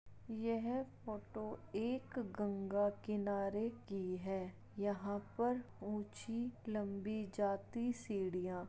यह फोटो एक गंगा किनारे की है यहां पर ऊंची-लम्बी जाती सीढ़ियां --